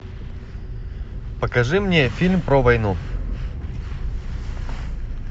покажи мне фильм про войну